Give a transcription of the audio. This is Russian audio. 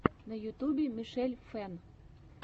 на ютюбе мишель фэн